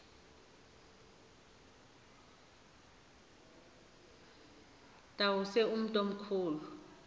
tawuse umntu omkhulu